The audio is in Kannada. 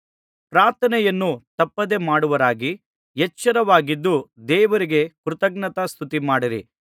ಪ್ರಾರ್ಥನೆಯನ್ನು ತಪ್ಪದೆ ಮಾಡುವವರಾಗಿ ಎಚ್ಚರವಾಗಿದ್ದು ದೇವರಿಗೆ ಕೃತಜ್ಞತಾಸ್ತುತಿಮಾಡಿರಿ